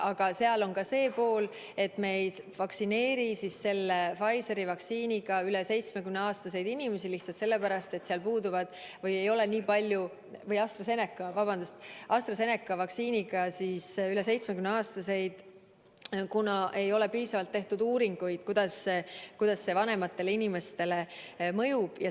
Aga seal on ka see nüanss, et me ei vaktsineeri AstraZeneca vaktsiiniga üle 70-aastaseid inimesi, kuna ei ole piisavalt tehtud uuringuid, kuidas see vanematele inimestele mõjub.